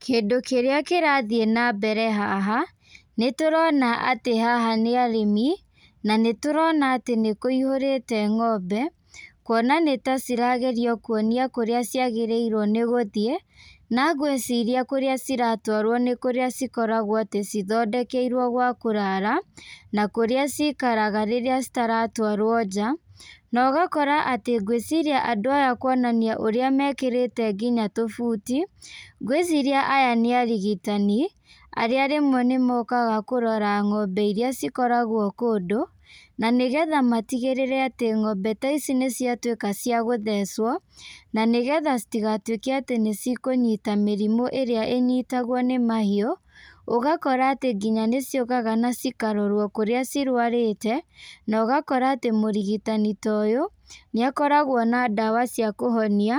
Kĩndũ kĩrĩa kĩrathiĩ na mbere haha nĩ tũrona atĩ haha nĩ arĩmi, na nĩ tũrona atĩ nĩ kũihũrĩte ng'ombe, kuona nĩ ta ciragerio kuonia kũrĩa ciagĩrĩirwo nĩ gũthiĩ, na gwaciria kũrĩa ciratwarwo nĩ kũrĩa cikoragwo atĩ cithondekeirwo gwa kũrara, na kũrĩa cikaraga rĩrĩa itaratwarwo nja, na ũgakora atĩ gwĩciria andũ aya kuonania ũrĩa mekĩrĩte nginya tũbuti, ngwĩciria aya nĩ arigitani, arĩa rĩmwe nĩ mokaga kũrora ng'ombe iria cikoragwo kũndũ, na nĩ getha matigĩrĩre atĩ ng'ombe taici nĩ ciatuĩka cia gũthecwo, na nĩgetha citigatuĩke atĩ nĩ cikũnyita mĩrimũ ĩrĩa ĩnyitagwo nĩ mahiũ, ũgakora atĩ nginya nĩ ciũkaga na cikarorwo kũrĩa cirwarĩte, na ũgakora atĩ mũrigitani toyũ, nĩ akoragwo na ndawa cia kũhonia,